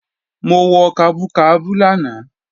Mo wọ kabú kabú lánàá